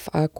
FAQ.